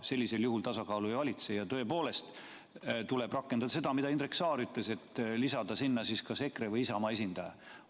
Sellisel juhul tasakaalu ei valitse ja tõepoolest tuleb rakendada seda, mida Indrek Saar ütles, nimelt lisada sinna kas EKRE või Isamaa esindaja.